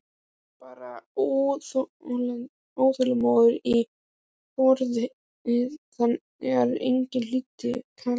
Hann barði óþolinmóður í borðið þegar enginn hlýddi kallinu.